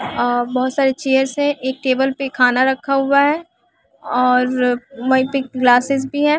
अअ बहुत सारे चेयर्स है एक टेबल पे खाना रखा हुआ है और वहीं पे ग्लासेस भी है।